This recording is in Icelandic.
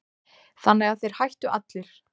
Þannig að þeir hættu allir.